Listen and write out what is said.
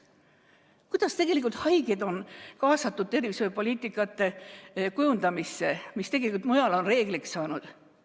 Kuidas tegelikult on haigeid kaasatud tervishoiupoliitika kujundamisse, mis tegelikult mujal on reegliks saanud?